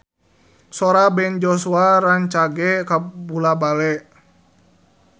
Sora Ben Joshua rancage kabula-bale